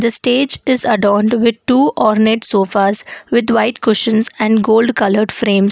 stage is adorned with two ornet sofas with white cushions and gold coloured frames.